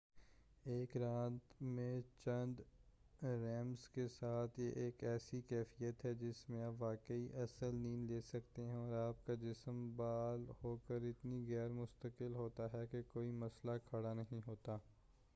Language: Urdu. ایک رات میں چند ریمز کے ساتھ یہ ایک ایسی کیفیت ہے جس میں آپ واقعی اصل نیند لے سکتے ہیں اور آپ کا جِسم بحال ہوکر اتنا غیرمستقل ہوتا ہے کہ کوئی مسئلہ کھڑا نہیں ہوتا